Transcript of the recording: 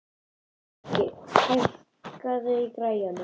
Finnbogi, hækkaðu í græjunum.